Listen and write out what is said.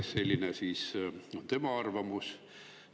Selline on arvamus.